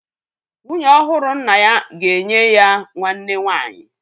Nwunye ọhụrụ nna ya ga-enye ya nwanne nwanyị